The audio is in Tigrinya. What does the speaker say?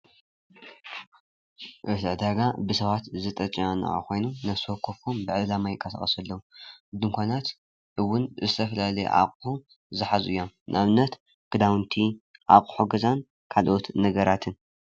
መሸጢ ዕዳጋ ብሰባት ዝተጨናነቀ ኾይኑ ነብሰወከፉ ብዕላማ ይንቀሳቀሱ ኣለው። ድንኳናት እውን ዝተፈላለዩ ኣቁሑ ዝሓዙ እዬም ንኣብነት ክዳውነቲ ፣ ኣቁሑ ገዛን ካልኦት ነገራትን